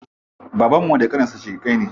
Babanmu da ƙaninsa shaƙiƙai ne.